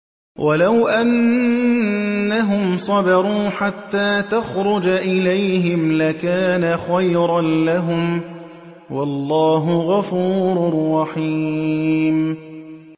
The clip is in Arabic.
وَلَوْ أَنَّهُمْ صَبَرُوا حَتَّىٰ تَخْرُجَ إِلَيْهِمْ لَكَانَ خَيْرًا لَّهُمْ ۚ وَاللَّهُ غَفُورٌ رَّحِيمٌ